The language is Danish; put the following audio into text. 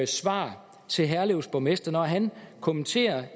svar til herlevs borgmester når han kommenterer